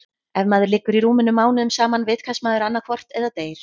Ef maður liggur í rúminu mánuðum saman vitkast maður annaðhvort eða deyr.